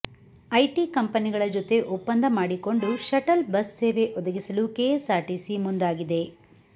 IT ಕಂಪನಿಗಳ ಜೊತೆ ಒಪ್ಪಂದ ಮಾಡಿಕೊಂಡು ಶಟಲ್ ಬಸ್ ಸೇವೆ ಒದಗಿಸಲು ಕೆಎಸ್ಆರ್ಟಿಸಿ ಮುಂದಾಗಿದೆ